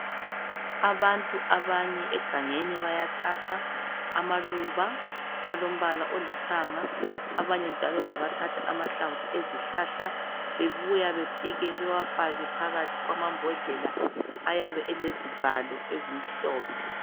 Abantu abanye egangeni bayathatha amaluba alombala olithanga abanye njalo ngabathatha amahlamvu ezihlahla bebuya befike bewafake phakathi kwama mbhodlela ayabe elezivalo ezimhlophe.